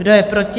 Kdo je proti?